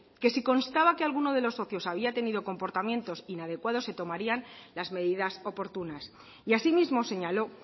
que si constaba que alguno de los socios había tenido comportamientos inadecuados se tomarían las medidas oportunas y asimismo señaló